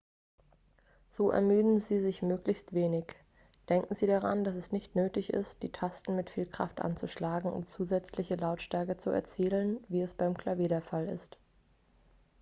so ermüden sie sich möglichst wenig denken sie daran dass es nicht nötig ist die tasten mit viel kraft anzuschlagen um zusätzliche lautstärke zu erzielen wie es beim klavier der fall ist